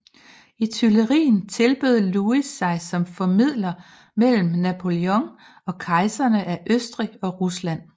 I Tuilerien tilbød Louis sig som formidler mellem Napoléon og kejserne af Østrig og Rusland